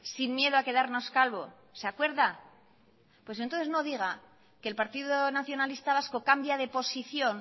sin miedo a quedarnos calvo se acuerda pues entonces no diga que el partido nacionalista vasco cambia de posición